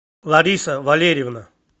лариса валерьевна